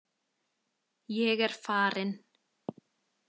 Ég er farinn